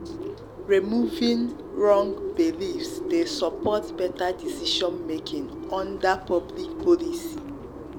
removing wrong beliefs dey support better decision-making under public um policy.